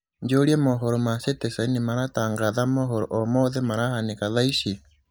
njūrie mohoro ma citizen nimaratangatha mohoro o mothe marahanīka thaa ici